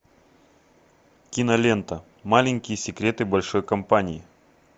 кинолента маленькие секреты большой компании